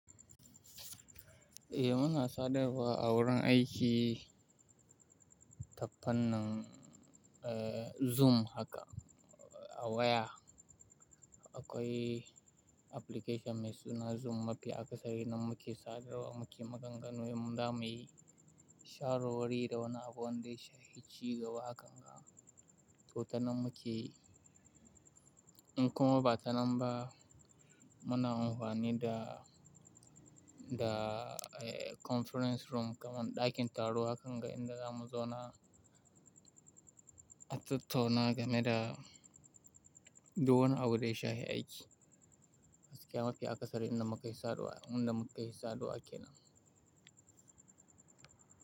Eh muna sadarwa a wurin aiki ta fannin, eh Zoom haka a waya. Akwai application mai suna Zoom mafi akasari nan muke sadarwa muke maganganu, mu za muyi share wuri da wani abu wanda ya shafi ci gaba hakanga. To ta nan mukeyi, in kuma ba ta nan ba muna amfani da, da conference room kaman ɗakin taro hakanga inda zamu zauna, a tattauna ga me da, dukan abu da ya shafi aiki. Gaskiya mafi akasari inda muke sadarwa, inda muke sadarwa kenan.